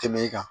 Tɛmɛ i kan